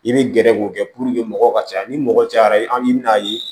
I bɛ gɛrɛ k'o kɛ mɔgɔw ka caya ni mɔgɔ cayara i bɛ n'a ye